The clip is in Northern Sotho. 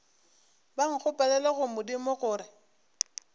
ba nkgopelele go modimo gore